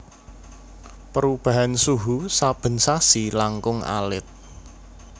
Perubahan suhu saben sasi langkung alit